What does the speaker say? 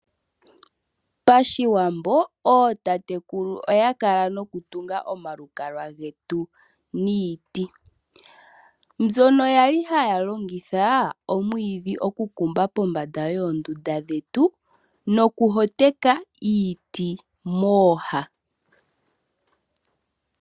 Pashiwambo ootatekulu oya kala noku tunga omalukalwa getu niiti mbyono yali haya longitha omwidhi oku kumba pombanda yondunda dhetu noku hoteka iiti mooha.